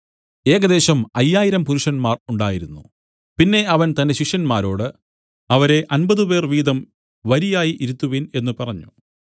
ഏകദേശം അയ്യായിരം പുരുഷന്മാർ ഉണ്ടായിരുന്നു പിന്നെ അവൻ തന്റെ ശിഷ്യന്മാരോട് അവരെ അമ്പതുപേർ വീതം വരിയായി ഇരുത്തുവിൻ എന്നു പറഞ്ഞു